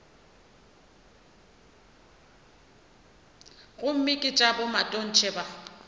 gomme ke tša bomatontshe ba